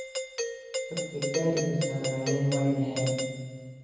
Dadhka gariga sarnayeen waynaxeen.